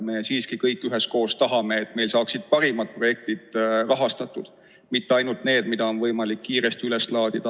Me kõik tahame, et rahastatud saaksid parimad projektid, mitte ainult need, mida on võimalik kiiresti üles laadida.